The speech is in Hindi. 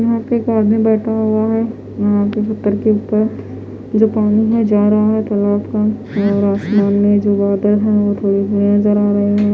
यहाँ पर एक आदमी बैठा हुआ है जो कोने में जा रहा है--